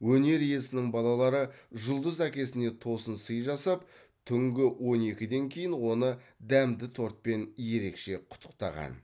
өнер иесінің балалары жұлдыз әкесіне тосын сый жасап түнгі он екіден кейін оны дәмді тортпен ерекше құттықтаған